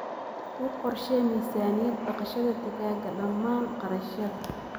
U qorshee miisaaniyad dhaqashada digaaga dhammaan kharashyada.